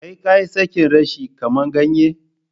Kai kayi Sake reshe, kama ganye?